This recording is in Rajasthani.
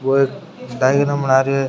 वो एक डायग्राम बना रो है।